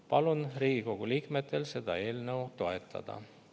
Palun Riigikogu liikmetel seda eelnõu toetada.